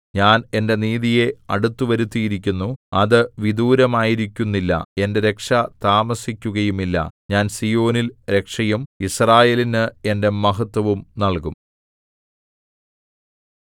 ഞാൻ എന്റെ നീതിയെ അടുത്തുവരുത്തിയിരിക്കുന്നു അത് വിദൂരമായിരിക്കുന്നില്ല എന്റെ രക്ഷ താമസിക്കുകയുമില്ല ഞാൻ സീയോനിൽ രക്ഷയും യിസ്രായേലിന് എന്റെ മഹത്ത്വവും നല്കും